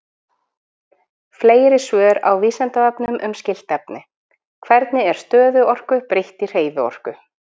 Fleiri svör á Vísindavefnum um skylt efni: Hvernig er stöðuorku breytt í hreyfiorku?